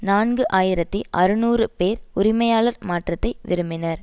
நான்கு ஆயிரத்தி அறுநூறு பேர் உரிமையாளர் மாற்றத்தை விரும்பினர்